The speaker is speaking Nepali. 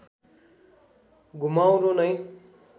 घुमाउरो नै